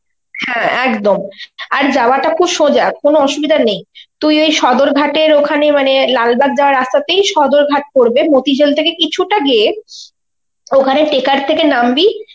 হ্যাঁ একদম. আর যাওয়াটা খুব সোজা, কোন অসুবিধা নেই. তুই ওই সদরঘাটের ওখানে মানে লালবাগ যাওয়ার রাস্তাতেই সদরঘাট পরবে, মতিঝিল থেকে কিছুটা গিয়ে ওখানে taker থেকে নামবি,